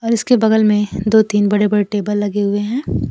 और इसके बगल में दो तीन बड़े बड़े टेबल लगे हुए हैं।